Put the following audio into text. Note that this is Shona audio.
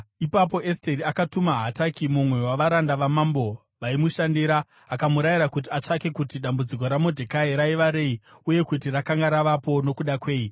Ipapo Esteri akatuma Hataki, mumwe wavaranda vamambo vaimushandira, akamurayira kuti atsvake kuti dambudziko raModhekai raiva rei uye kuti rakanga ravapo nokuda kwei.